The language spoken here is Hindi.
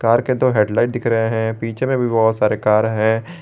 ऊपर के दो हेडलाइट दिख रहे हैं पीछे में भी बहुत सारे कार है।